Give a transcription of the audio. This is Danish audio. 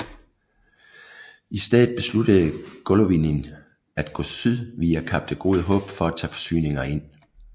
I stedet besluttede Golovnin at gå syd via Kap det Gode Håb for at tage forsyninger ind